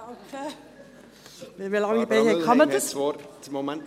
– Danke, Barbara Mühlheim, dass du zum Rednerpult eilst!